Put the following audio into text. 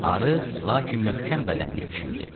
Arıq, lakin möhkəm bədənli kişi idi.